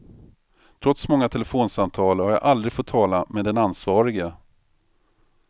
Trots många telefonsamtal har jag aldrig fått tala med den ansvarige.